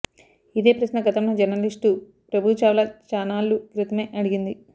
ఇదే ప్రశ్న గతంలో జర్నలిస్టు ప్రభు చావ్లా చానాళ్ల క్రితమే అడిగింది